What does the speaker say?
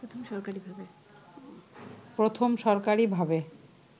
প্রথম সরকারিভাবে